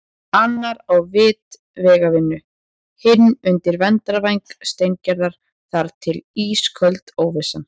Annar á vit vegavinnu, hinn undir verndarvæng Steingerðar- þar til ísköld óvissan.